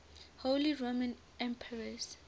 holy roman emperors